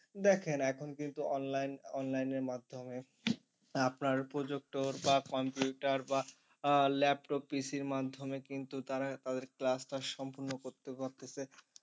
দেখেন এখন কিন্তু online online এর মাধ্যমে আপনার projector বা computer বা আহ laptop PC র মাধ্যমে কিন্তু তারা তাদের class টা সম্পূর্ণ করতে পারতেছে।